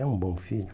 É um bom filho.